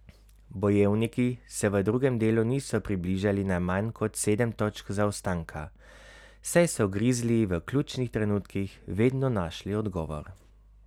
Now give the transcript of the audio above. Bojevniki se v drugem delu niso približali na manj kot sedem točk zaostanka, saj so Grizliji v ključnih trenutkih vedno našli odgovor.